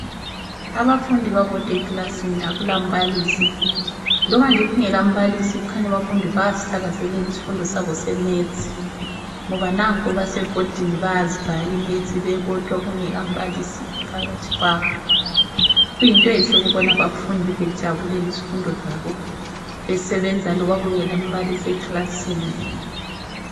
Abafundi babodwa ekilasini akulambalisi. Loba nje kungelambalisi kukhanya abafundi bayasithakazelela isifundo sabo seMaths, ngoba nanko basebhodini bayazibhala iMaths bebodwa kungelambalisi phakathi kwabo. Kuyinto enhle ukubona abafundi bejabulela izifundo zabo besebenza loba kungelambalisi ekilasini.